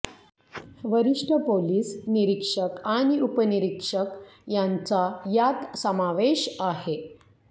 वरिष्ठ पोलीस निरीक्षक आणि उपनिरीक्षक यांचा यात समावेश आहे